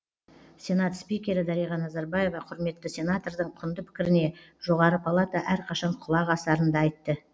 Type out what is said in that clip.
сенат спикері дариға назарбаева құрметті сенатордың құнды пікіріне жоғары палата әрқашан құлақ асарын да айтты